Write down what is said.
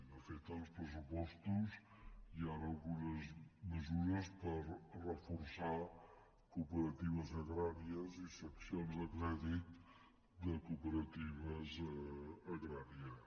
de fet en els pressupostos hi han algunes mesures per reforçar cooperatives agràries i seccions de crèdit de cooperatives agràries